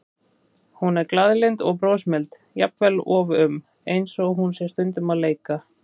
Hún er glaðlynd og brosmild, jafnvel um of, eins og hún sé stundum að leika.